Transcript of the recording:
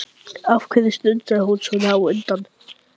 Af hverju strunsaði hún svona á undan?